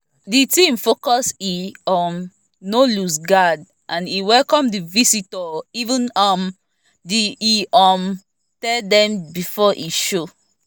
the team focus e um no loose guard and e welcome the visitor even um tho e um tell dem before e show